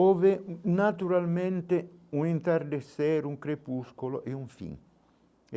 Houve, naturalmente, um entardecer, um crepúsculo e um fim.